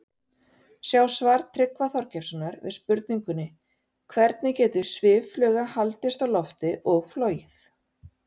Sjá svar Tryggva Þorgeirssonar við spurningunni Hvernig getur sviffluga haldist á lofti og flogið?